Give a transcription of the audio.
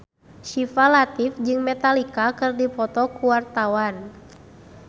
Syifa Latief jeung Metallica keur dipoto ku wartawan